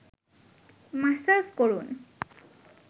massage করুন